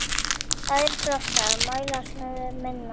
Aðrir flokkar mælast með minna.